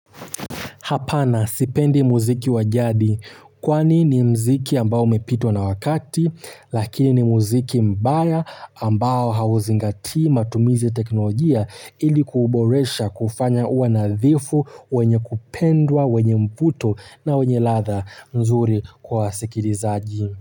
Hapana sipendi muziki wa jadi kwani ni mziki ambao umepitwa na wakati lakini ni muziki mbaya ambao hauzingatii matumizi ya teknolojia ili kuuboresha kuufanya uwe nadhifu wenye kupendwa wenye mvuto na wenye ladha nzuri kwa wasikilizaji.